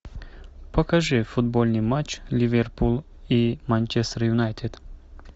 покажи футбольный матч ливерпуль и манчестер юнайтед